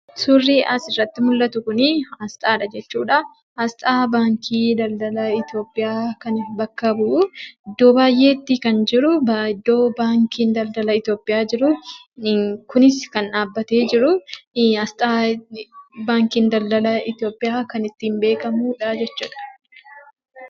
Suurri as irratti mul'atu kun aasxaa baankii daldala Itoophiyaati. Kunis yeroo baayyee bakka baankiin dadala Itoophiyaa jirutti kan argamuu fi baankii daldala itoophiyaa bakka bu'a jechuu dha.